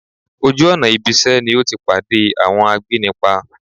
Ojú ọ̀nà ibisẹ́ ni o ti pade awọn agbénipa